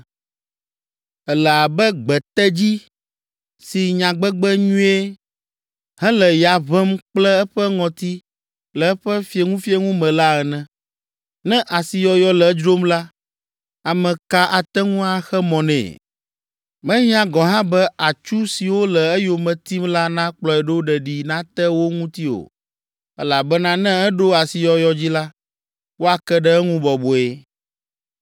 Èle abe gbetedzi si nyagbegbe nyuie hele ya ʋẽm kple eƒe ŋɔti le eƒe fieŋufieŋu me la ene. Ne asiyɔyɔ le edzrom la, ame ka ate ŋu axe mɔ nɛ? Mehiã gɔ̃ hã be atsu siwo le eyome tim la nakplɔe ɖo ɖeɖi nate wo ŋuti o elabena ne eɖo asiyɔyɔ dzi la, woake ɖe eŋu bɔbɔe.